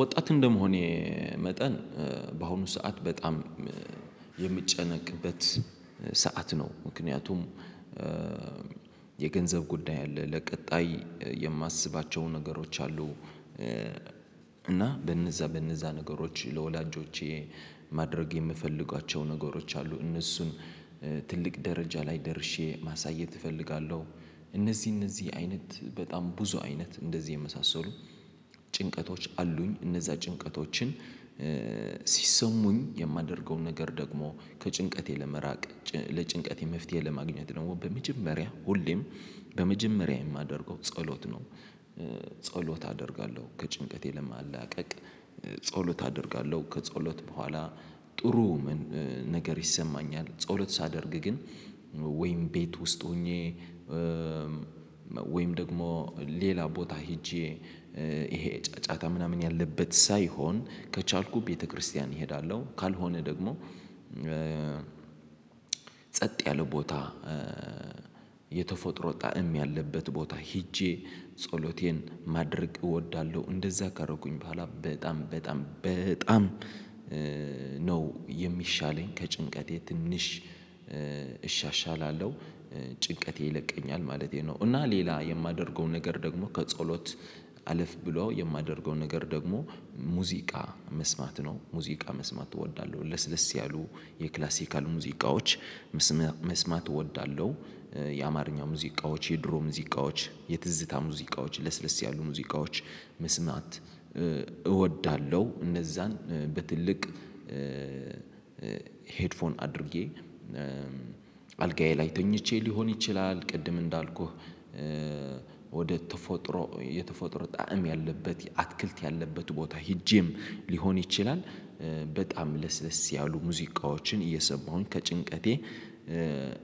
ወጣት እንደመሆኔ መጠን በአሁኑ ሰዓት በጣም የሚጨነቅበት ሰዓት ነው። ምክንያቱም የገንዘብ ጉዳይ አለ። ለቀጣይ የማስባቸው ነገሮች አሉ። እና በነዛ በነዛ ነገሮች ለወላጆቼ ማድረግ የምፈልጓቸው ነገሮች አሉ። እነሱን ትልቅ ደረጃ ላይ ደርሼ ማሳየት እፈልጋለሁ። እነዚህ እነዚህ አይነት በጣም ብዙ አይነት እንደዚህ የመሳሰሉ ጭንቀቶች አሉኝ። እነዛ ጭንቀቶችን ሲሰሙኝ የማደርገውን ነገር ደግሞ ከጭንቀቴ ለመራቅ ለጭንቀቴ መፍትሄ ለማግኘት ደግሞ በመጀመሪያ ሁሌም በመጀመሪያ የማደርገው ጸሎት ነው። ጸሎት አደርጋለሁ ከጭንቀቴ ለማላቀቅ ጸሎት አደርጋለሁ ከጸሎት በኋላ ጥሩ ነገር ይሰማኛል። ጸሎት ሳደርግ ግን ወይም ቤት ውስጥ ሆኜ ወይም ደግሞ ሌላ ቦታ ሄጄ ይሄ ጫጫታ ምናምን ያለበት ሳይሆን ከቻልኩ ቤተክርስቲያን እሄዳለሁ። ካልሆነ ደግሞ ጸጥ ያለ ቦታ የተፎጥሮ ጣዕም ያለበት ቦታ ሄጄ ጸሎቴን ማድረግ እወዳለሁ። እንደዛ ካረኩኝ በኋላ በጣም በጣም በጣም ነው የሚሻለኝ ከጭንቀቴ ትንሽ እሻሻላለሁ ጭንቀቴ ይለቀኛል ማለቴ ነው። እና ሌላ የማደርገው ነገር ደግሞ ከጸሎት አለፍ ብሎ የማደርገው ነገር ደግሞ ሙዚቃ መስማት ነው። ሙዚቃ መስማት እወዳለሁ ለስለስ ያሉ የክላሲካል ሙዚቃዎች መስማት እወዳለሁ። የአማርኛ ሙዚቃዎች የድሮ ሙዚቃዎች የትዝታ ሙዚቃዎች ለስለስ ያሉ ሙዚቃዎች መስማት እወዳለሁ። እነዛን በትልቅ ሄድፎን አድርጌ አልጋዬ ላይ ተኝቼ ሊሆን ይችላል። ቅድም እንዳልኩህ ወደ ተፎጥሮ የተፎጥሮ ጣዕም ያለበት አትክልት ያለበት ቦታ ሄጄም ሊሆን ይችላል። በጣም ለስለስ ያሉ ሙዚቃዎችን እየሰማሁኝ ከጭንቀቴ